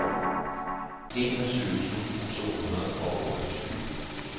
enogtyve tusind to hundrede og otteogtyve